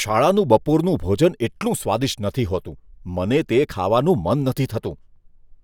શાળાનું બપોરનું ભોજન એટલું સ્વાદિષ્ટ નથી હોતું, મને તે ખાવાનું મન નથી થતું.